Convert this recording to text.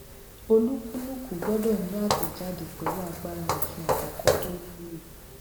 olúkúlùkù gbọdọ ni àtẹjáde pẹlú agbára òfin àkókò tó wulo